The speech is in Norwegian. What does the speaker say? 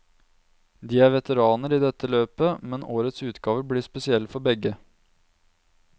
De er veteraner i dette løpet, men årets utgave blir spesiell for begge.